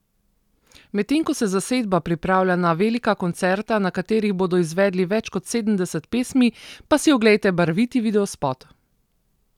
Medtem ko se zasedba pripravlja na velika koncerta, na katerih bodo izvedli več kot sedemdeset pesmi, pa si oglejte barviti videospot!